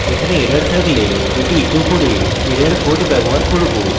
এখানে error থাকলে এটি echo করে error code ব্যবহার করব